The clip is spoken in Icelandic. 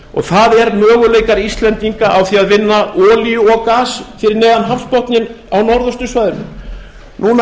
og það eru möguleikar íslendinga á því að vinna olíu og gas fyrir neðan hafsbotninn á norðaustursvæðinu núna